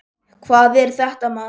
Hvað er þetta, maður!